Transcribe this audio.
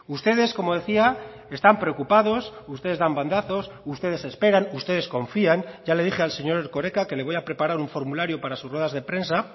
ustedes como decía están preocupados ustedes dan bandazos ustedes esperan ustedes confían ya le dije al señor erkoreka que le voy a preparar un formulario para sus ruedas de prensa